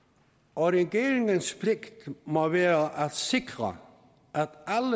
og regeringens pligt må være at sikre